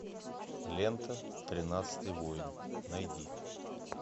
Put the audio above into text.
лента тринадцатый воин найди